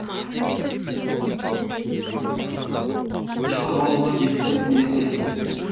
үш қырғауылға жетпіс төрт мыңдай төледі